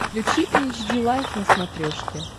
включи эйч ди лайф на смотрешке